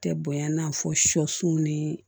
Tɛ bonya i n'a fɔ sɔsun ni